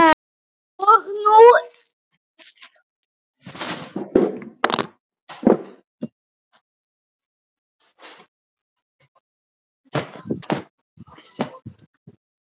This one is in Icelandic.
Og nú ýfist konan öll.